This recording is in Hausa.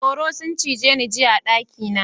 Tsoro sun cije ni jiya a daki na.